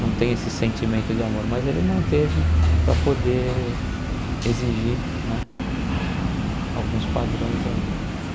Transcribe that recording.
Não tem esse sentimento de amor, mas ele manteve para poder exigir né alguns padrões aí.